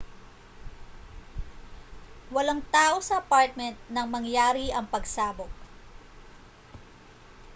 walang tao sa apartment nang mangyari ang pagsabog